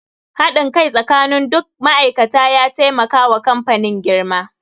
Haɗin kai tsakanin duk ma'aikata ya taimaka wa kamfanin girma.